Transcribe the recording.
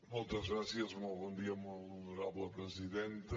moltes gràcies molt bon dia molt honorable presidenta